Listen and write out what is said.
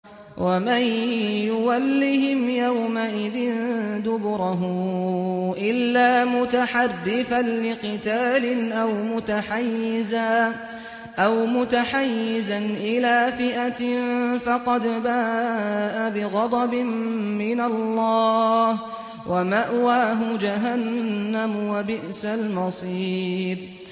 وَمَن يُوَلِّهِمْ يَوْمَئِذٍ دُبُرَهُ إِلَّا مُتَحَرِّفًا لِّقِتَالٍ أَوْ مُتَحَيِّزًا إِلَىٰ فِئَةٍ فَقَدْ بَاءَ بِغَضَبٍ مِّنَ اللَّهِ وَمَأْوَاهُ جَهَنَّمُ ۖ وَبِئْسَ الْمَصِيرُ